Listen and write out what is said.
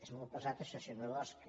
és molt pesat això senyor bosch